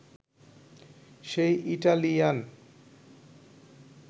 সে Italian